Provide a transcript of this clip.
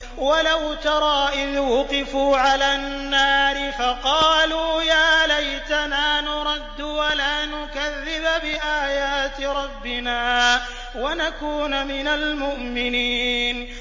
وَلَوْ تَرَىٰ إِذْ وُقِفُوا عَلَى النَّارِ فَقَالُوا يَا لَيْتَنَا نُرَدُّ وَلَا نُكَذِّبَ بِآيَاتِ رَبِّنَا وَنَكُونَ مِنَ الْمُؤْمِنِينَ